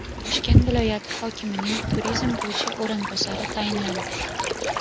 Toshkent viloyati hokimining turizm bo‘yicha o‘rinbosari tayinlandi.